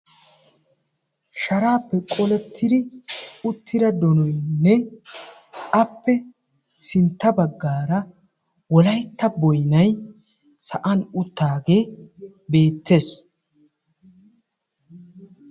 shaarappe qolettidi uttida donoynne appe sintta baggaara Wolaytta boynay sa'an uttaage beettees.